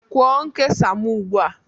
Kwụọ nkesa m ugbu a